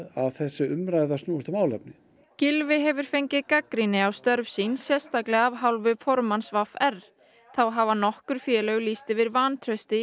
að þessi umræða snúist um málefni Gylfi hefur fengið gagnrýni á störf sín sérstaklega af hálfu formanns v r þá hafa nokkur félög lýst yfir vantrausti